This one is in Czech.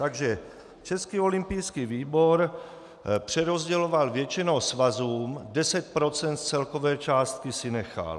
Takže Český olympijský výbor přerozděloval většinou svazům, 10 % z celkové částky si nechal.